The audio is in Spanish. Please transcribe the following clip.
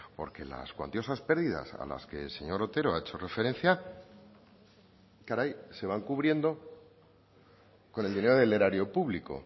porque las cuantiosas pérdidas a las que el señor otero ha hecho referencia caray se van cubriendo con el dinero del erario público